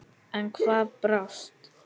En hvað brást?